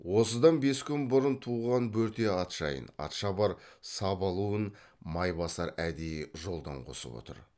осыдан бес күн бұрын туған бөрте ат жайын атшабар сабалуын майбасар әдейі жолдан қосып отыр